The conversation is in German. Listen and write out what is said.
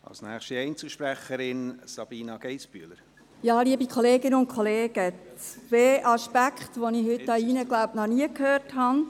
Ich möchte zwei Punkte erwähnen, die ich heute hier drin, denke ich, noch nicht gehört habe.